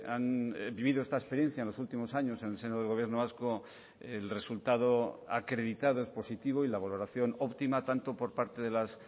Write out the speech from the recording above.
han vivido esta experiencia en los últimos años en el seno del gobierno vasco el resultado acreditado es positivo y la valoración óptima tanto por parte de las